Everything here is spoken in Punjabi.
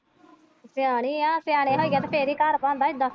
ਸਿਆਣੀ ਹੈ ਸਿਆਣੇ ਹੋਈਦਾ ਤੇ ਫਿਰ ਹੀ ਘਰ ਬਣਦਾ ਇੱਦਾਂ ਤੇ।